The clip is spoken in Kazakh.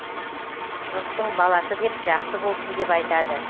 жұрттың баласы деп жақсы болсын деп айтады